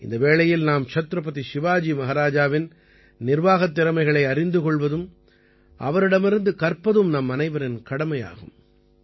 இந்த வேளையில் நாம் சத்ரபதி சிவாஜி மஹாராஜாவின் நிர்வாகத் திறமைகளை அறிந்து கொள்வதும் அவரிடமிருந்து கற்பதும் நம்மனைவரின் கடமையாகும்